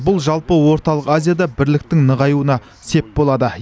бұл жалпы орталық азияда бірліктің нығаюына сеп болады